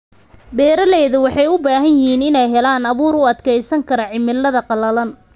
Beeralayda waxay u baahan yihiin inay helaan abuur u adkeysan kara cimilada qalalan.